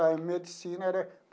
A medicina era.